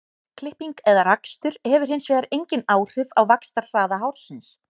Klipping eða rakstur hefur hins vegar engin áhrif á vaxtarhraða hársins.